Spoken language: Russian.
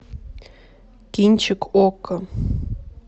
кинчик окко